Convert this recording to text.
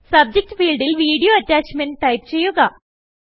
subject ഫീൽഡിൽ video attachment type ചെയ്യുക